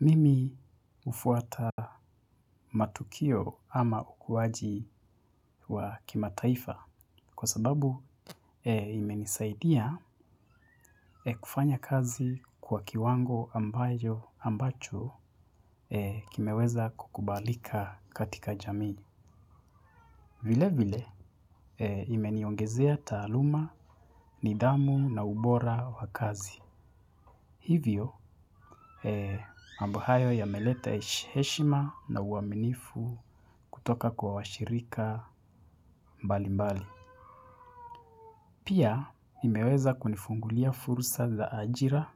Mimi ufuata matukio ama ukuwaji wa kima taifa kwa sababu imenisaidia kufanya kazi kwa kiwango ambayo ambacho kimeweza kukubalika katika jamii. Vile vile imeniongezea taluma, nidamu na ubora wa kazi. Hivyo, mambohayo yameleta eshima na uaminifu kutoka kwa washirika mbali mbali. Pia, imeweza kunifungulia furusa za ajira,